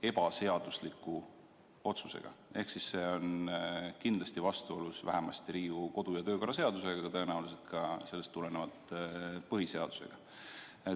ebaseadusliku otsusega ehk siis see on kindlasti vastuolus vähemasti Riigikogu kodu- ja töökorra seadusega ning tõenäoliselt ka sellest tulenevalt põhiseadusega?